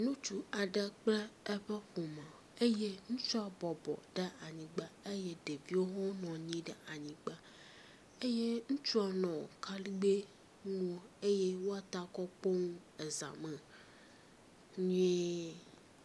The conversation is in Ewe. Ŋutsu aɖe kple eƒe ƒome eye ŋutsua bɔbɔ ɖe anyigba eye ɖeviwo hã nɔ anyi ɖe anyigba eye ŋutsua nɔ akaɖigbɛ ŋu eye woata kɔ kpo nu eza me nyuie.